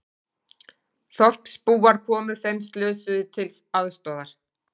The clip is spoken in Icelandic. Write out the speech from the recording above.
Þorpsbúar komu þeim slösuðust til aðstoðar